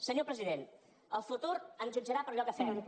senyor president el futur ens jutjarà per allò que fem